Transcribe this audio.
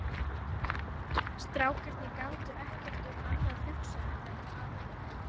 Strákarnir gátu ekki um annað hugsað en þetta atvik.